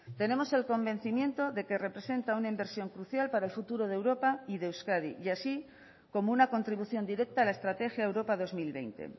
tenemos el convencimiento de que representa una inversión crucial para el futuro de europa y de euskadi y así como una contribución directa a la estrategia europa dos mil veinte